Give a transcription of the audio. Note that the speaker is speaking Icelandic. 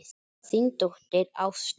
Þín dóttir, Ásta.